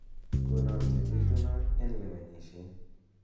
konon chebitunat en lewenisiet